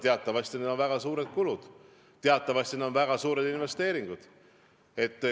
Teatavasti on selleks vaja teha väga suuri kulutusi, need on väga suured investeeringud.